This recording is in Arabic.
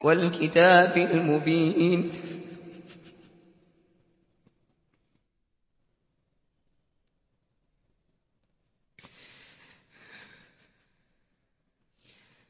وَالْكِتَابِ الْمُبِينِ